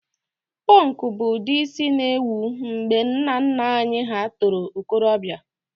Pọnkụ bụ ụdị ísí na-ewu mgbe nnanna anyị hà toro okorobịa.